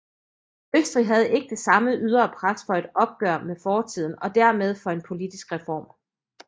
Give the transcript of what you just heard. Østrig havde ikke det samme ydre pres for et opgør med fortiden og dermed for en politisk reform